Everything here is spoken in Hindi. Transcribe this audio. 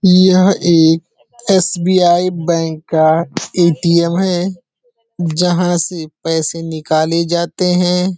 यह एक एस.बी.आई. बैंक का ए.टी.एम. है जहां से पैसे निकाले जाते हैं।